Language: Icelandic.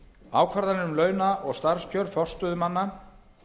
ákvarðanir um launa og starfskjör forstöðumanna